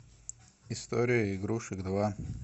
история игрушек два